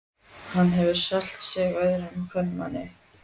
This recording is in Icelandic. Hann hefur selt sig öðrum kvenmanni.